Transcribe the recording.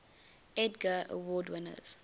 edgar award winners